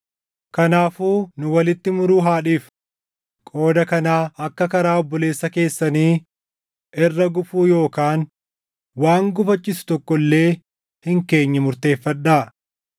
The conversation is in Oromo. Kanaafuu nu walitti muruu haa dhiifnu. Qooda kanaa akka karaa obboleessa keessanii irra gufuu yookaan waan gufachiisu tokko illee hin keenye murteeffadhaa.